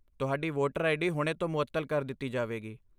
ਤੁਹਾਡੀ voter ID ਹੁਣੇ ਤੋਂ ਮੁਅੱਤਲ ਕਰ ਦਿੱਤੀ ਜਾਵੇਗੀ।